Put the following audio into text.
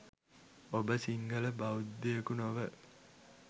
ඔබ සිංහල බෞද්ධයකු නොව